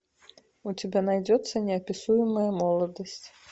у тебя найдется неописуемая молодость